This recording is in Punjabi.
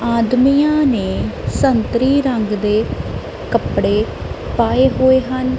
ਆਦਮੀਆਂ ਨੇ ਸੰਤਰੀ ਰੰਗ ਦੇ ਕੱਪੜੇ ਪਾਏ ਹੋਏ ਹਨ।